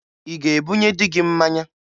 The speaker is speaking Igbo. Ị ga-ebunye dị gị mmanya?